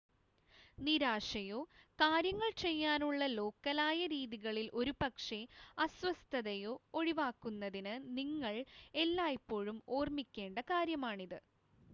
നിരാശയോ കാര്യങ്ങൾ ചെയ്യാനുള്ള ലോക്കലായ രീതികളിൽ ഒരുപക്ഷെ അസ്വസ്ഥതയോ ഒഴിവാക്കുന്നതിന് നിങ്ങൾ എല്ലായ്പ്പോഴും ഓർമ്മിക്കേണ്ട കാര്യമാണിത്